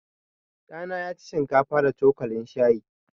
Ɗa na ya ci shinkafa da cokalin shayi.